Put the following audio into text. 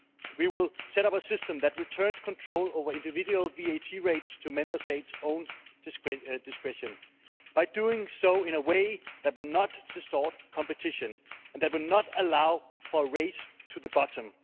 we will set up a system that returns control over individual VAT rates to Member States' own discretion by doing so in a way that will not distort competition and that will not allow for a race to the bottom.